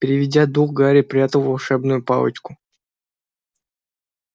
переведя дух гарри прятал волшебную палочку